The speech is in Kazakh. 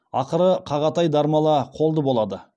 ақыры қағатай дармала қолды болады